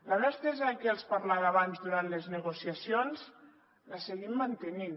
la mà estesa de què els parlava abans durant les negociacions la seguim mantenint